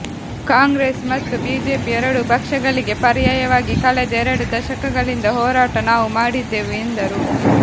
ಕಾಂಗ್ರೆಸ್ ಮತ್ತು ಬಿಜೆಪಿ ಎರಡೂ ಪಕ್ಷಗಳಿಗೆ ಪರ್ಯಾಯವಾಗಿ ಕಳೆದ ಎರಡು ದಶಕಗಳಿಂದ ಹೋರಾಟ ನಾವು ಮಾಡಿದ್ದೆವು ಎಂದರು